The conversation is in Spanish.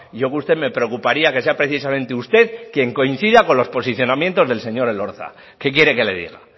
yo que usted me preocuparía que sea precisamente usted quien coincida con los posicionamientos del señor elorza qué quiere que le diga